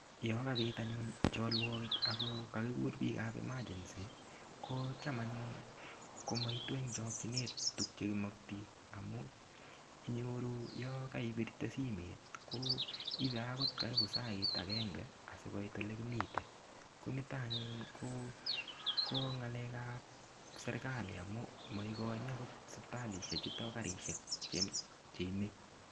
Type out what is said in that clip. Yo kabit anyun cholwokik ako kakikur biikab emergency ko cham anyun komaitu eng' chokchinet tukchekimokti amu inyoru yo kaibirte simet ko ibei akot karibu sait agenge asikobit ole kimite ko nito anyun ko ng'alekab serikali amu maikoini akot sipitalishe chuto karishek cheimei